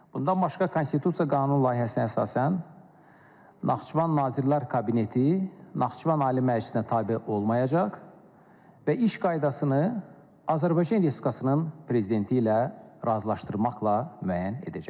Bundan başqa, Konstitusiya Qanunu layihəsinə əsasən, Naxçıvan Nazirlər Kabineti Naxçıvan Ali Məclisinə tabe olmayacaq və iş qaydasını Azərbaycan Respublikasının prezidenti ilə razılaşdırmaqla müəyyən edəcəkdir.